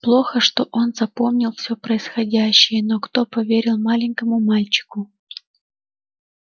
плохо что он запомнил всё происходящее но кто поверил маленькому мальчику